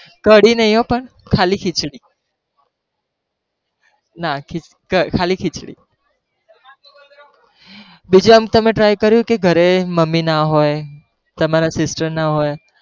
કઢી નહી હો પણ ખાલી ખીચડી, ના ખાલી ખીચડી બીજા માં તમે try કર્યું તું ઘરે તમારી મમ્મી ના હોય, તમારી sister ના હોય,